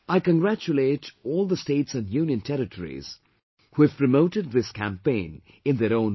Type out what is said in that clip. I congratulate all the states and union territories, who have promoted this campaign in their own way